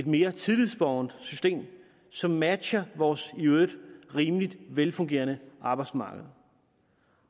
mere tillidsbåret system som matcher vores i øvrigt rimelig velfungerende arbejdsmarked